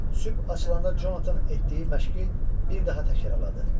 Sübh açılanda Conatan etdiyi məşqi bir daha təkrarladı.